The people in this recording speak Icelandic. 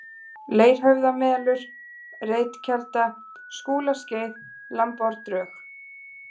Leirhöfðamelur, Reitkelda, Skúlaskeið, Lambárdrög